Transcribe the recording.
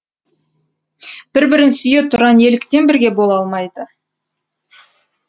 бір бірін сүйе тұра неліктен бірге бола алмайды